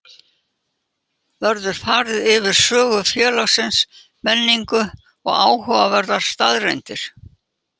Verður farið yfir sögu félagsins, menningu og áhugaverðar staðreyndir.